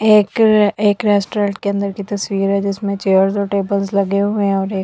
एक एक रेस्टोरेंट के अंदर की तस्वीर है जिसके जिसमे चेयर्स और टेबल्स लगे हुए है और एक।